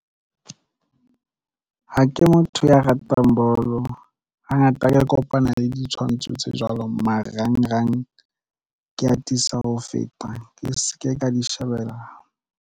Ha ke motho ya ratang bolo hangata ke kopana le ditshwantsho tse jwalo. Marangrang ke atisa ho feta ke se ke ka di shebellang.